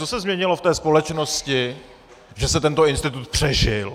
Co se změnilo v té společnosti, že se tento institut přežil?